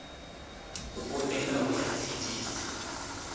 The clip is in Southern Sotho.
o ela ho ya tshedisa